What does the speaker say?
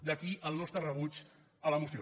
d’aquí el nostre rebuig a la moció